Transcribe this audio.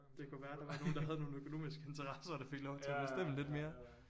Det kunne være der var nogen der har nogle økonomiske interesser der fik lov til at bestemme lidt mere